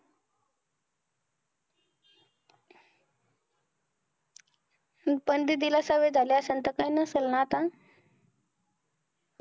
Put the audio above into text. पण दीदी ला सवय झाले असेल तर, काय नसाल ना आता